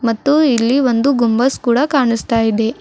ಮತ್ತು ಇಲ್ಲಿ ಒಂದು ಗುಂಬಜ್ ಕೂಡ ಕಾಣುಸ್ತಾ ಇದೆ.